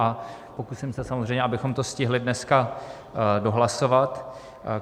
A pokusím se samozřejmě, abychom to stihli dneska dohlasovat.